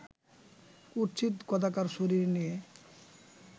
কুৎসিত কদাকার শরীর নিয়ে